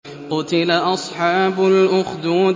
قُتِلَ أَصْحَابُ الْأُخْدُودِ